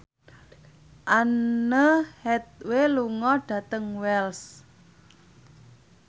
Anne Hathaway lunga dhateng Wells